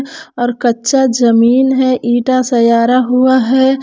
और कच्चा जमीन है ईटा सयारा हुआ है।